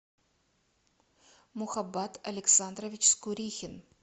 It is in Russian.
мухаббат александрович скурихин